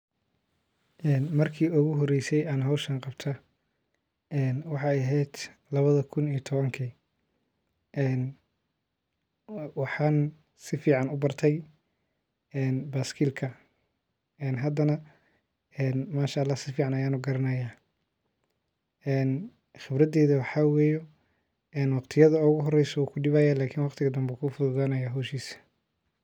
Een marki iguxoreyse an xowshan qabto, een waxay ehet kawadi kun iyo tawanki, een waxan sifican ubartay ee beskilka, een xadana een manshaalax si ficam ayan ugaranaya, een qibradeyda waxa weye in wagtiyada ogu xoreyso wu kudibaya lakin wagtiga dambe wuku fufudanayan xowshis.